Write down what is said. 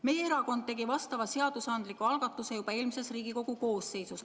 Meie erakond tegi vastava seadusandliku algatuse juba eelmises Riigikogu koosseisus.